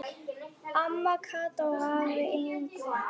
Amma Kata og afi Yngvi.